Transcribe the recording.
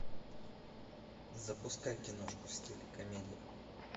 запускай киношку в стиле комедия